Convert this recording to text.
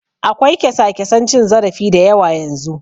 Akwai kyasa-kyasan cin zarafi da yawa yanzu.